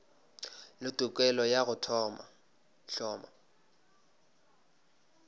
le tokelo ya go hloma